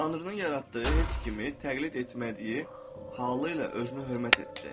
Tanrının yaratdığı heç kimi təqlid etmədiyi halı ilə özünü hörmət etdi.